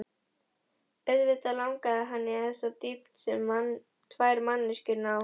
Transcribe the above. Auðvitað langaði hann í þessa dýpt sem tvær manneskjur ná.